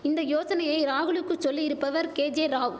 இந்த யோசனையை ராகுலுக்கு சொல்லியிருப்பவர் கேஜேராவ்